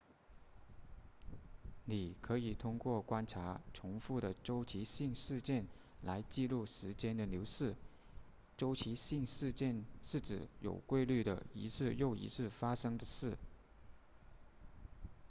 你可以通过观察重复的周期性事件来记录时间的流逝周期性事件是指有规律地一次又一次发生的事